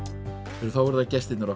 þá eru það gestirnir okkar